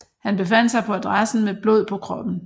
Han befandt sig på adressen med blod på kroppen